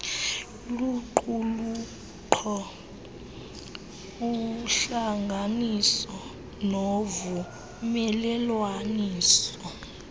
luqulunkqo uhlanganiso novumelelwaniso